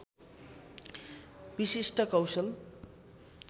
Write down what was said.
विशिष्ट कौशल